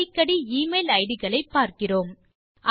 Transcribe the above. அடிக்கடி e mail ID களை பார்க்கிறோம்